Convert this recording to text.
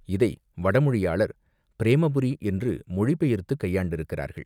இதை வடமொழியாளர் பிரேமபுரி என்று மொழிபெயர்த்துக் கையாண்டிருக்கிறார்கள்.